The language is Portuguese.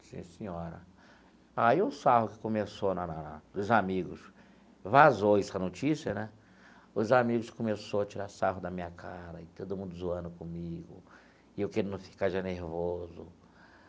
Sim, senhora, aí o sarro que começou na na na, os amigos, vazou essa notícia né, os amigos começou a tirar sarro da minha cara, e todo mundo zoando comigo, e eu querendo ficar já nervoso.